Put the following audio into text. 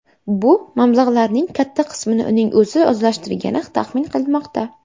Bu mablag‘larning katta qismini uning o‘zi o‘zlashtirgani taxmin qilinmoqda.